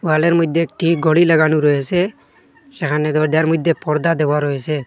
ওয়ালে র মইধ্যে একটি গড়ি লাগানো রয়েসে সেখানে দরজার মইধ্যে পর্দা দেওয়া রয়েসে ।